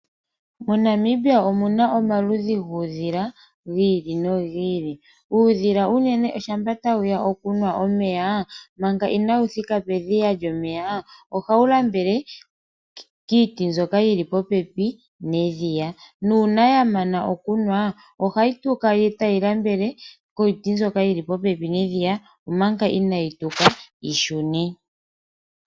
MoNamibia omuna omaludhi guudhila gi ili nogi ili. Uudhila unene shampa tawu ya okunwa omeya, manga inaawu thika pedhiya lyomeya ohawu lambele kiiti mbyoka yili popepi nedhiya, nuuna yamana okunwa ohayi tuka etayi lambele kiiti mbyoka yili popepi nedhiya, omanga inaayi tuka yi shune.